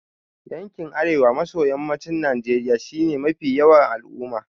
Yankin Arewa maso Yammacin Najeriya shi ya fi yawan al'umma.